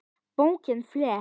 Bókinni flett.